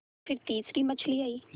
फिर तीसरी मछली आई